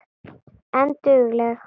En dugleg.